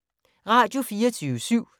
Radio24syv